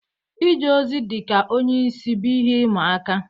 Ije ozi dị ka onye isi bụ ihe ịma aka.